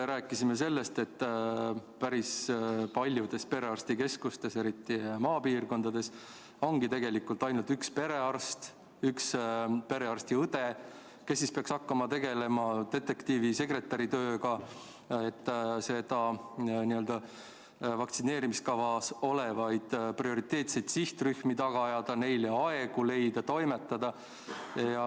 Rääkisime ka sellest, et päris paljudes perearstikeskustes, eriti maapiirkondades, ongi tegelikult ainult üks perearst ja üks pereõde, kes peaks hakkama tegema detektiivi- ja sekretäritööd, et vaktsineerimiskavas olevaid prioriteetseid sihtrühmi taga ajada, neile aegu leida, toimetada.